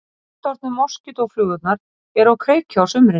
Fullorðnu moskítóflugurnar eru á kreiki á sumrin.